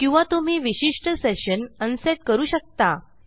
किंवा तुम्ही विशिष्ट सेशन अनसेट करू शकता